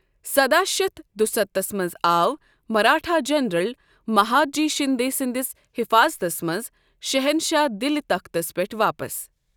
سداہ شتھ دُستتھس منز آو مراٹھا جنرل مہادجی شندے سندِس حفاظتس منز شہنشاہ دِلہِ تختس پیٹھ واپس ۔